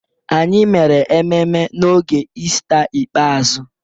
Anyị mere ememme n'oge Ista ikpeazụ.